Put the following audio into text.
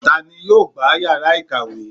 ta ni yóò gbá iyara ikawe?